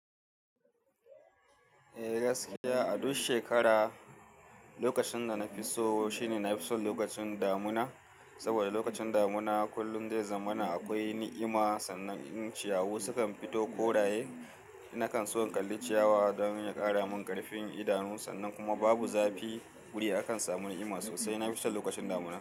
Eh gaskiya, a duk shekara lokacin da na fi so shine na fi son lokacin damuna. Saboda lokacin damuna kullum dai zamana akwai ni'ima, sannan in ciyawu sukan fito koraye. Na kan so in kalli ciyawa don ya ƙara min ƙarfin idanu, sannan kuma babu zafi. Wuri akan samu ni'ima sosai. Na fi son lokacin damuna.